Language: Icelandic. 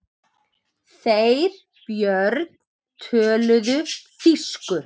Þeir Björn töluðu þýsku.